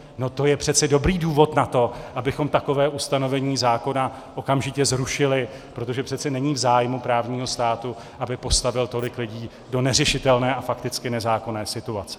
No to je přece dobrý důvod na to, abychom takové ustanovení zákona okamžitě zrušili, protože přece není v zájmu právního státu, aby postavil tolik lidí do neřešitelné a fakticky nezákonné situace.